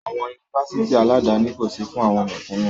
Àwọn Yunifásitì aládani kò sí fún àwọn mẹ̀kúnú.